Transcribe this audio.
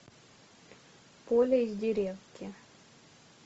поля из деревки